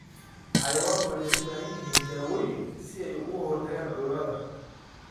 Xayawaanku waxay u baahan yihiin dawooyin si ay uga hortagaan cudurrada.